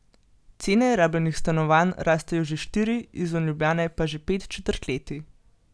Cene rabljenih stanovanj rastejo že štiri, izven Ljubljane pa že pet četrtletij.